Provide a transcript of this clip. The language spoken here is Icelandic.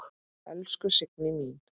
Elsku Signý mín.